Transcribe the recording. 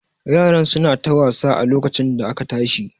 Yaran su na ta wasa a lokacin da aka tashi